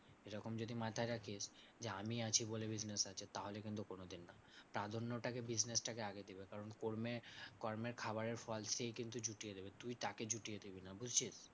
এরকম যদি মাথায় রাখিস যে, আমি আছি বলে business আছে তাহলে কিন্তু কোনোদিন না। তার জন্য ওটাকে business টা কে আগে দিবি। কারণ কর্মে কর্মের খাবারের ফল সেই কিন্তু জুটিয়ে দেবে, তুই তাকে জুটিয়ে দিবি না, বুঝছিস?